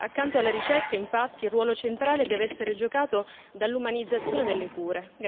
Accanto alla ricerca, infatti, il ruolo centrale deve essere giocato dall'umanizzazione delle cure.